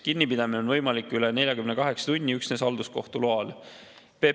Kinnipidamine on võimalik üle 48 tunni üksnes halduskohtu loal.